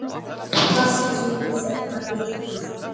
Hvað gefur þetta ykkur?